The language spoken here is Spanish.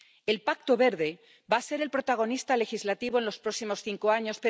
El Pacto Verde va a ser el protagonista legislativo en los próximos cinco años.